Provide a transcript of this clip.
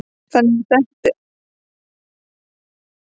Ég settist þannig að pabbi og mamma sæju ekki framan í mig.